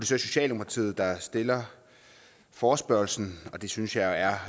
så socialdemokratiet der stiller forespørgslen og det synes jeg er